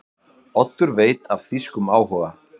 Oddur veit af þýskum áhuga